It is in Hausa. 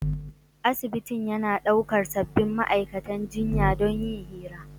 Asibitin yana daukar sabbin ma'aikatan jinya don yin hira.